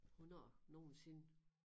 Hvornår nogensinde